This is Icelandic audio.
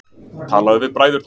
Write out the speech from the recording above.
Talaðu við bræðurna.